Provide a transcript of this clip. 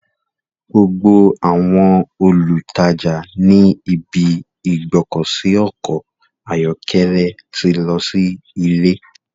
Gbogbo àwọn olùtajà ní ibi ìgbọ́kọ̀sí ọkọ̀ ayọ́kẹ́lẹ́ ti lọ sí ilé.